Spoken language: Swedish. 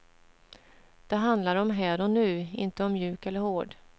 Det handlar om här och nu, inte om mjuk eller hård.